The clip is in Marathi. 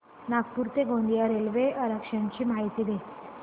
नागपूर ते गोंदिया रेल्वे आरक्षण ची माहिती दे